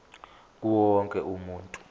kuwo wonke umuntu